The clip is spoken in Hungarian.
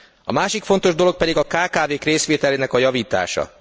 A másik fontos dolog pedig a kkv k részvételének a javítása.